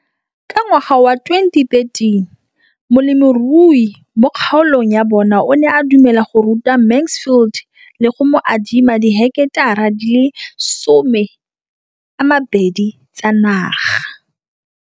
Ka ngwaga wa 2013, molemirui mo kgaolong ya bona o ne a dumela go ruta Mansfield le go mo adima di heketara di le 12 tsa naga.